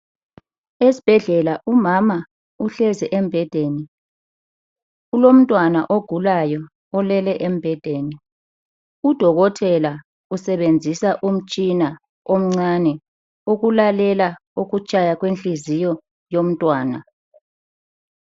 esibhedlela umama uhlezi embhedeni kulomntwana ogulayo olele embedeni udokotela usebenzisa umtshina omncane ukulalela ukutshaya kwenhliziyo yomntwana